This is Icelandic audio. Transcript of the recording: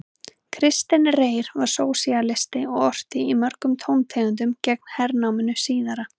Kristinn Reyr var sósíalisti og orti í mörgum tóntegundum gegn hernáminu síðara.